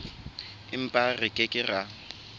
empa re ke ke ra